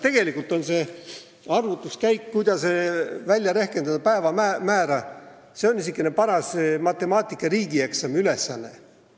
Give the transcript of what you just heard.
Tegelikult on see arvutuskäik, kuidas välja rehkendada päevamäära, niisugune paras matemaatika riigieksami ülesanne.